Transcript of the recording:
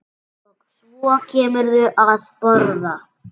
Og svo kemurðu að borða!